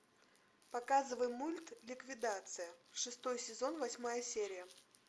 показывай мульт ликвидация шестой сезон восьмая серия